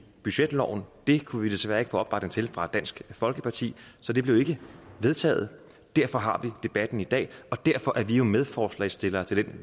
budgetloven det kunne vi desværre ikke få opbakning til fra dansk folkeparti så det blev ikke vedtaget derfor har vi debatten i dag og derfor er vi jo medforslagsstillere til